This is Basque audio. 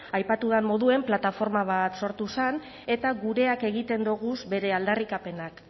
aipatu dan moduen plataforma bat sortu zen eta gureak egiten doguz bere aldarrikapenak